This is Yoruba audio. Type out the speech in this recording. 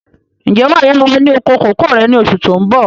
Ǹjẹ́ wàá yá wa ní oko kòkó rẹ̀ ni oṣù tó bọ̀?